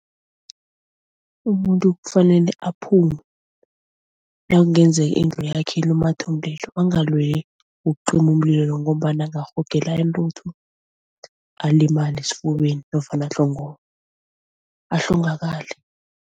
Umuntu kufanele aphume nakungenzeka indlu yakhe ilumathe umlilo, angalweli ukucima umlilo ngombana angarhogela intuthu alimale esifubeni nofana ahlongakale.